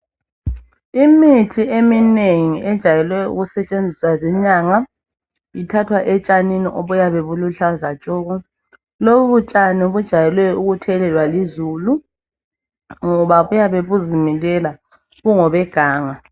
Imithi eminengi ejayele ukusetshenziswa zinyanga ithathwa etshanini obuyabe buluhlaza tshoko. Lobu tshani bujayele ukuthelelwa lizulu ngoba buyabe buzimilela, bungobeganga.